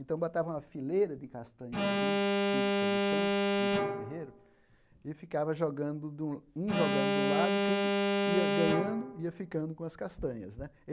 Então, botava uma fileira de castanhas assim fixa no chão, isso no terreiro, e ficava jogando um jogando de um lado, quem ia ganhando ia ficando com as castanhas né.